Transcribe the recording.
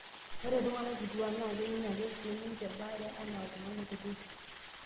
Ore iltung'ana kituak naa kening' ake sii ninche baare anaa iltung'ana kutiti.